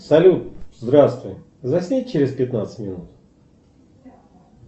салют здравствуй засни через пятнадцать минут